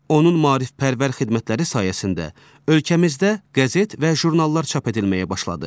Onun maarifpərvər xidmətləri sayəsində ölkəmizdə qəzet və jurnallar çap edilməyə başladı.